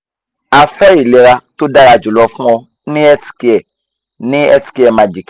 a fe ilera to dara julo fun o ni healthcare ni healthcare magic